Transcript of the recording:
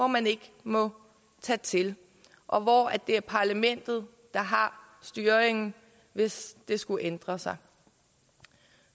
man ikke må tage til og det er parlamentet der har styringen hvis det skulle ændres